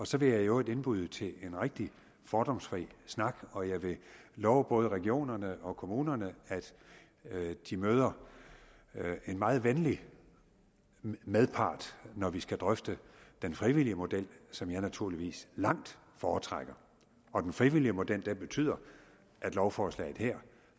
så vil jeg i øvrigt indbyde til en rigtig fordomsfri snak og jeg vil love både regionerne og kommunerne at de møder en meget venlig medpart når vi skal drøfte den frivillige model som jeg naturligvis langt foretrækker og den frivillige model betyder at lovforslaget her